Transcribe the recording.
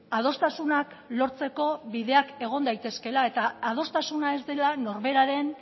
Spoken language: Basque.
adostasunak lortzeko bideak egon daitezkeela eta adostasuna ez dela norberaren